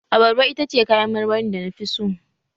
Abarba ita ce kayan marmarin da na fi so